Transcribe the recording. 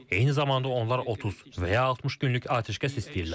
Eyni zamanda onlar 30 və ya 60 günlük atəşkəs istəyirlər.